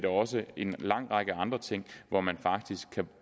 også en lang række andre ting hvor man faktisk kan